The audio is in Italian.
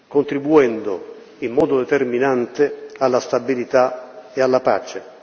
contribuendo, in modo determinante, alla stabilità e alla pace.